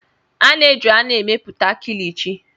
A na-eji anụ emepụta Kilichi.